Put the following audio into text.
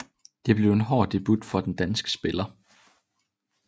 Det blev en hård debut for den danske spiller